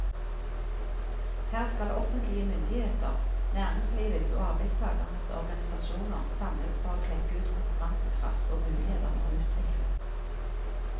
Her skal offentlige myndigheter, næringslivets og arbeidstagernes organisasjoner samles for å klekke ut konkurransekraft og muligheter for utvikling.